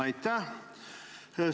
Aitäh!